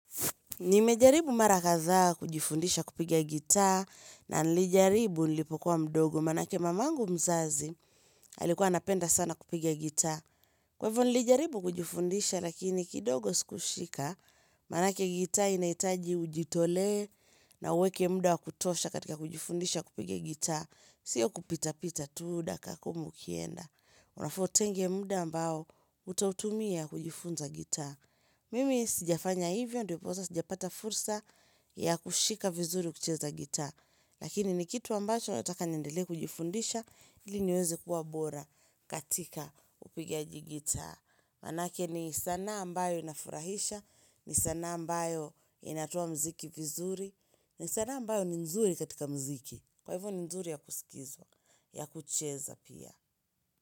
Nimejaribu mara kadhaa kujifundisha kupiga gita na nilijaribu nilipokuwa mdogo maanake mamangu mzazi alikuwa anapenda sana kupiga gita. Kwa hivyo nilijaribu kujifundisha lakini kidogo siku shika, maanake gita inahitaji ujitolee na uweke muda wakutosha katika kujifundisha kupiga gita. Sio kupita pita tu dakika kumi ukienda. Unafaa utenge muda ambao utautumia kujifunza gita. Mimi sijafanya hivyo ndiposa sijapata fursa ya kushika vizuri kucheza gita Lakini ni kitu ambacho nataka niendelee kujifundisha ili niweze kuwa bora katika upigaji gita Maanake ni sanaa ambayo inafurahisha, ni sanaa ambayo inatoa mziki vizuri ni sanaa ambayo ni nzuri katika mziki, kwa hivyo ni nzuri ya kusikizwa, ya kucheza pia.